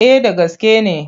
Eh da gaske ne.